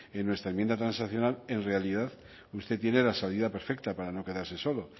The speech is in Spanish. en nuestra enmienda transaccional en realidad usted tiene la salida perfecta para no quedarse solo